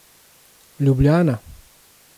Ljubljana.